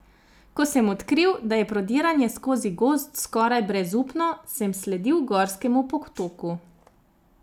Ko sem odkril, da je prodiranje skozi gozd skoraj brezupno, sem sledil gorskemu potoku.